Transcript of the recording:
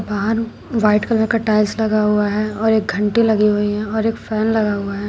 बाहर white colour का tiles लगा हुआ है और एक घंटी लगी हुई है और एक फैन लगा हुआ है।